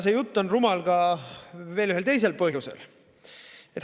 See jutt on rumal ka veel ühel teisel põhjusel.